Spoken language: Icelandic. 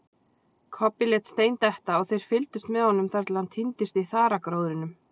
Kobbi lét stein detta og þeir fyldust með honum þar til hann týndist í þaragróðrinum.